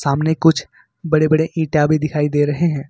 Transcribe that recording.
सामने कुछ बड़े बड़े ईंटा भी दिखाई दे रहे हैं।